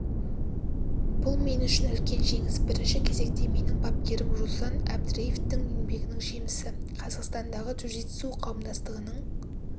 бұл мен үшін үлкен жеңіс бірінші кезекте менің бапкерім руслан әбдреевтің еңбегінің жемісі қазақстандағы джиу-джитсу қауымдастығының